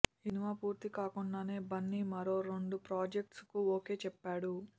ఈ సినిమా పూర్తి కాకుండానే బన్నీ మరో రెండు ప్రాజెక్ట్స్ కు ఓకే చెప్పాడు